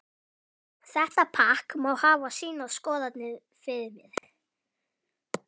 Þetta pakk má hafa sínar skoðanir fyrir mér.